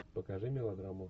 покажи мелодраму